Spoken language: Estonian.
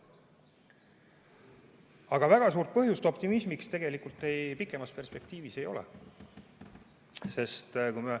Aga väga suurt põhjust optimismiks pikemas perspektiivis ei ole.